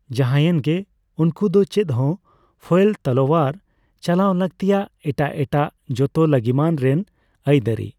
ᱡᱟᱦᱟᱭᱮᱱᱜᱮ, ᱩᱱᱠᱩᱫᱚ ᱪᱮᱫ ᱦᱚᱸ ᱯᱷᱚᱭᱮᱞ ᱛᱟᱞᱳᱣᱟᱨ ᱪᱟᱞᱟᱣ ᱞᱟᱹᱠᱛᱤᱭᱟᱜ ᱮᱴᱟᱜ ᱮᱴᱟᱜ ᱡᱚᱛᱚ ᱞᱟᱹᱜᱤᱢᱟᱱ ᱨᱮᱱ ᱟᱹᱭᱫᱟᱹᱨᱤ ᱾